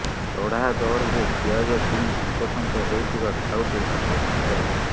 ଚଢ଼ା ଦରରେ ପିଆଜ କିଣି ହନ୍ତସନ୍ତ ହେଉଥିବା ଖାଉଟି ଆଶ୍ୱସ୍ତି ପାଇବେ